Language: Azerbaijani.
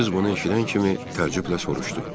Qız bunu eşidən kimi təəccüblə soruşdu.